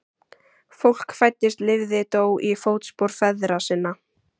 Fólk fæddist lifði dó í fótspor feðra sinna.